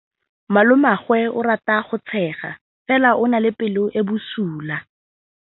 Malomagwe o rata go tshega fela o na le pelo e e bosula.